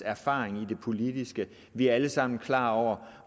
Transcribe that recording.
erfaring i det politiske vi er alle sammen klar over